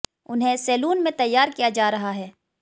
उन्हें सैलून में तैयार किया जा रहा है